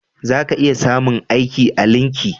Za ka iya samun aiki a linki